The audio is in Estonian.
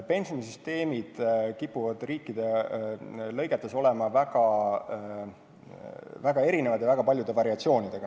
Pensionisüsteemid kipuvad riikides olema väga erinevad ja paljude variatsioonidega.